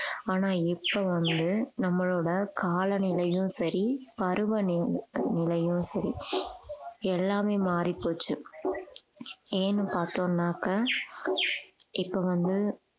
ஆனா இப்ப வந்து நம்மளோட காலநிலையும் சரி பருவ நி~நிலையும் சரி எல்லாமே மாறிப்போச்சு ஏன்னு பார்த்தோம்னாக்க இப்ப வந்து